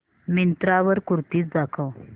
मिंत्रा वर कुर्तीझ दाखव